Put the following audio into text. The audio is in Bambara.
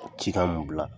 Cikan mun bila